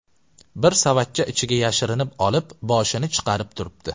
Biri savatcha ichiga yashirinib olib, boshini chiqarib turibdi.